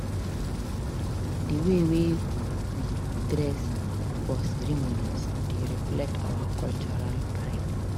Di way we dey dress for ceremonies dey reflect our cultural pride.